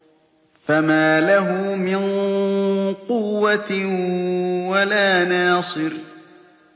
فَمَا لَهُ مِن قُوَّةٍ وَلَا نَاصِرٍ